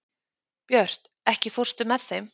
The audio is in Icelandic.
Björt, ekki fórstu með þeim?